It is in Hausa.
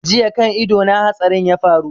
Jiya kan ido na hatsarin ya faru